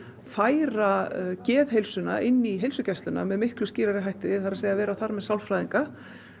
færa geðheilsuna inn í heilsugæsluna með miklu skýrari hætti það er að segja vera þar með sálfræðinga